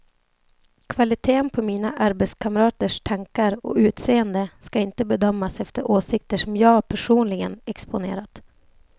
Kvaliteten på mina arbetskamraters tankar och utseende ska inte bedömas efter åsikter som jag personligen exponerat.